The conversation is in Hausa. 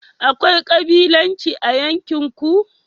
akwai kabilanci a yankin ku?